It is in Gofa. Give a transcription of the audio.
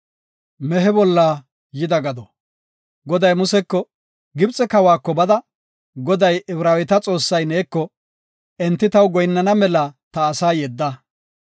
Goday Museko, “Gibxe kawako bada, Goday, Ibraaweta Xoossay neeko, ‘Enti taw goyinnana mela ta asaa yedda.